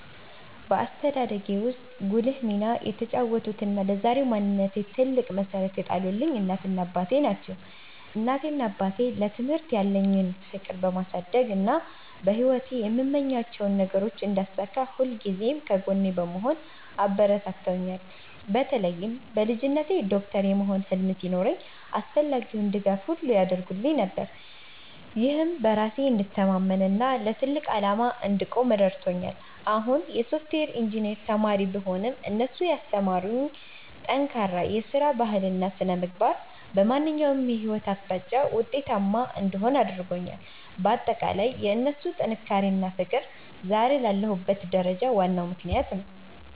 በአስተዳደጌ ውስጥ ጉልህ ሚና የተጫወቱትና ለዛሬው ማንነቴ ትልቅ መሠረት የጣሉልኝ እናቴና አባቴ ናቸው። እናቴና አባቴ ለትምህርት ያለኝን ፍቅር በማሳደግና በሕይወቴ የምመኛቸውን ነገሮች እንዳሳካ ሁልጊዜም ከጎኔ በመሆን አበረታትተውኛል። በተለይም በልጅነቴ ዶክተር የመሆን ህልም ሲኖረኝ አስፈላጊውን ድጋፍ ሁሉ ያደርጉልኝ ነበር፤ ይህም በራሴ እንድተማመንና ለትልቅ ዓላማ እንድቆም ረድቶኛል። አሁን የሶፍትዌር ኢንጂነር ብሆንም፣ እነሱ ያስተማሩኝ ጠንካራ የሥራ ባህልና ሥነ-ምግባር በማንኛውም የሕይወት አቅጣጫ ውጤታማ እንድሆን አድርጎኛል። ባጠቃላይ የእነሱ ጥንካሬና ፍቅር ዛሬ ላለሁበት ደረጃ ዋናው ምክንያት ነው።